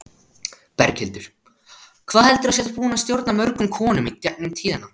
Berghildur: Hvað heldurðu að þú sért búin að stjórna mörgum konum í gegnum tíðina?